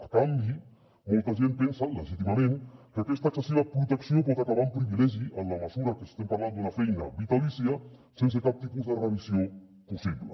a canvi molta gent pensa legítimament que aquesta excessiva protecció pot acabar en privilegi en la mesura que estem parlant d’una feina vitalícia sense cap tipus de revisió possible